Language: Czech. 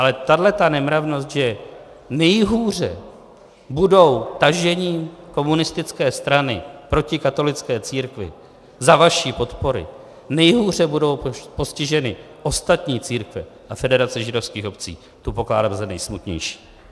Ale tahle nemravnost, že nejhůře budou tažením komunistické strany proti katolické církvi za vaší podpory, nejhůře budou postiženy ostatní církve a Federace židovských obcí, to pokládám za nejsmutnější.